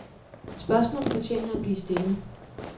Spørgsmålet fortjener at blive stillet.